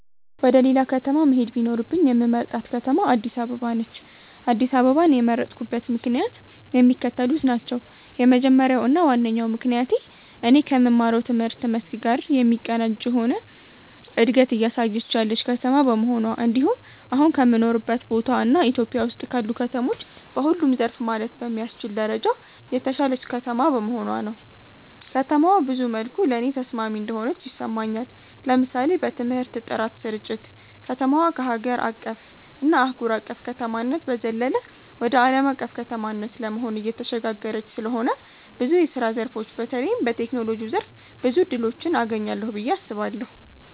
ወደ ሌላ ከተማ መሄድ ቢኖርብኝ የምመርጣት ከተማ አድስ አበባ ነች። አድስ አበባን የመረጥኩበት ምክንያትም የሚከተሉት ናቸው። የመጀመሪያው እና ዋነኛው ምክንያቴ እኔ ከምማረው ትምህርት መስክ ጋር የሚቀናጅ የሆነ እንደገት እያሳየች ያለች ከተማ በመሆኗ እንድሁም አሁን ከምኖርበት ቦታ እና ኢትዮጵያ ውስጥ ካሉ ከተሞች በሁሉም ዘርፍ ማለት በሚያስችል ደረጃ የተሻለች ከተማ በመሆኗ ነው። ከተማዋ ብዙ መልኩ ለኔ ተስማሚ እንደሆነች ይሰማኛል። ለምሳሌ በትምህርት ጥራት ስርጭት፣ ከተማዋ ከሀገር አቀፍ እና አህጉር አቅፍ ከተማነት በዘለለ ወደ አለም አቀፍ ከተማነት ለመሆን እየተሸጋገረች ስለሆነ ብዙ የስራ ዘርፎች በተለይም በቴክኖሎጂው ዘርፍ ብዙ እድሎችን አገኛለሁ ብየ አስባለሁ።